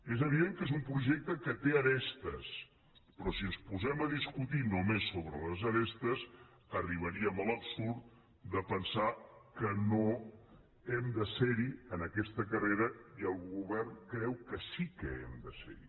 és evident que és un projecte que té arestes però si ens posem a discutir només sobre les arestes arribarem a l’absurd de pensar que no hem de ser hi en aquesta carrera i el govern creu que sí que hem de ser hi